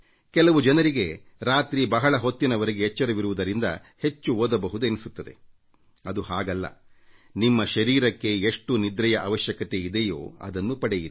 ಕೆಲವರಿಗೆ ರಾತ್ರಿ ಬಹಳ ಹೊತ್ತಿನವರೆಗೆ ಎಚ್ಚರವಿರುವುದರಿಂದ ಹೆಚ್ಚು ಓದಬಹುದು ಎನ್ನಿಸುತ್ತದೆ ಅದು ಹಾಗಲ್ಲ ನಿಮ್ಮ ಶರೀರಕ್ಕೆ ಎಷ್ಟು ನಿದ್ರೆಯ ಅವಶ್ಯಕತೆ ಇದೆಯೋ ಅದನ್ನು ನೀಡಿ